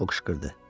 o qışqırdı.